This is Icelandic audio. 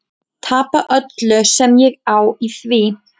Tapa öllu sem ég á í því.